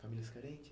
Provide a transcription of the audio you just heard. Famílias carente?